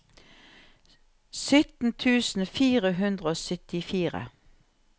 sytten tusen fire hundre og syttifire